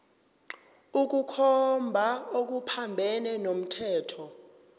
ukukhomba okuphambene nomthetho